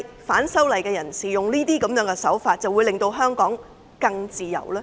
反修例人士使用這些手法，是否能夠令香港更自由？